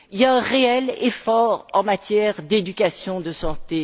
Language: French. Il y a un réel effort en matière d'éducation et de santé.